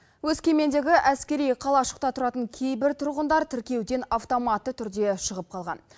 өскемендегі әскери қалашықта тұратын кейбір тұрғындар тіркеуден автоматты түрде шығып қалған